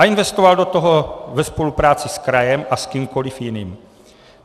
A investovali do toho ve spolupráci s krajem a s kýmkoliv jiným.